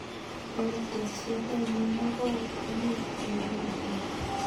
Ini tekset ainon ne koi inei en kwanynduni